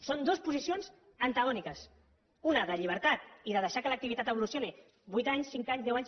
són dues posicions antagòniques una de llibertat i de deixar que l’activitat evolucioni vuit anys cinc anys deu anys